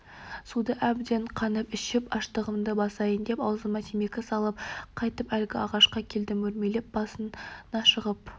суды әбден қанып ішіп аштығымды басайын деп аузыма темекі салып қайтып әлгі ағашқа келдім өрмелеп басына шығып